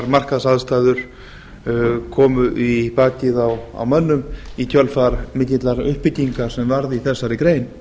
markaðsaðstæður komu í bakið á mönnum í kjölfar mikillar uppbyggingar sem varð í þessari grein